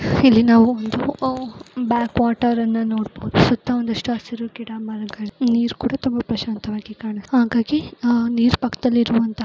ಇಲ್ಲಿ ನಾವು ಒಂದು ಅಹ್ ಬ್ಯಾಕ್ವಾಟರ್ ಅನ್ನ ನೋಡಬಹುದು ಸುತ್ತ ಒಂದಿಷ್ಟು ಗಿಡ ಮರಗಳು ನೀರು ಕೂಡ ತುಂಬ ಪ್ರಸಾಂತವಾಗಿ ಹಾಗಾಗಿ ನೀರು ಪಕ್ಕದಲ್ಲಿ ಇರುವಂತಹ --